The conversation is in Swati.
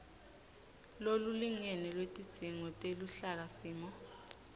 lolulingene lwetidzingo teluhlakasimo